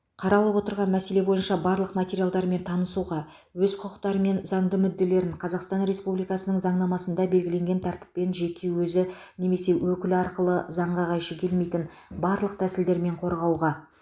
қаралып отырған мәселе бойынша барлық материалдармен танысуға өз құқықтары мен заңды мүдделерін қазақстан республикасының заңнамасында белгіленген тәртіппен жеке өзі немесе өкілі арқылы заңға қайшы келмейтін барлық тәсілдермен қорғауға